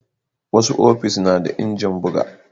Wasu ofis na da injin buga